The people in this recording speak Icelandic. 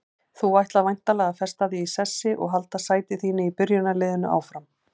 Þú ætlar væntanlega að festa þig í sessi og halda sæti þínu í byrjunarliðinu áfram?